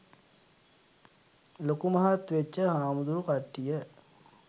ලොකු මහත් වෙච්ච හාමුදුරු කට්ටිය.